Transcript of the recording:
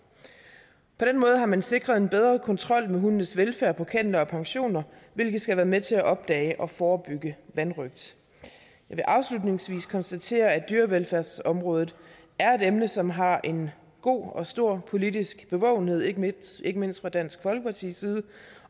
på den måde har man sikret en bedre kontrol med hundenes velfærd på kenneler og pensioner hvilket skal være med til at opdage og forebygge vanrøgt jeg vil afslutningsvis konstatere at dyrevelfærdsområdet er et emne som har en god og stor politisk bevågenhed ikke mindst ikke mindst fra dansk folkepartis side